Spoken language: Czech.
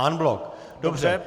En bloc, dobře.